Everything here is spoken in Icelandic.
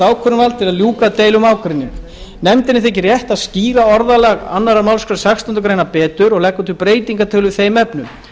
til að ljúka deilu um ágreining nefndinni þykir rétt að skýra orðalag annarrar málsgreinar sextándu grein betur og leggur til breytingartillögu í þeim efnum